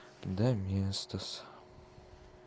доместос